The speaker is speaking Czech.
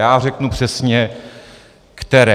Já řeknu přesně které.